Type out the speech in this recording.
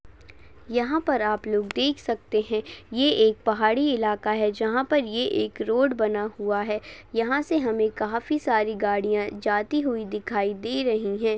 यहा पर आप लोग देख सकते है ये एक पहाड़ी इलाखा है जहा पर ये एक रोड बना हुआ है यहा से हमे काफी सारी गाड़ीया जाती हुई दिखाई दे रही है।